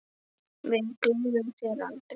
Við gleymum þér aldrei.